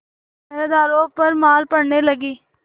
पहरेदारों पर मार पड़ने लगी